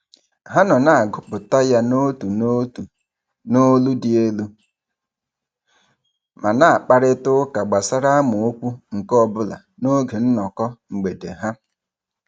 Ha nọ na-agụpụta ya n'otu n'otu n'olu dị elu ma na-akparịtaụka gbasara amaokwu nke ọbụla n'oge nnọkọ mgbede ha.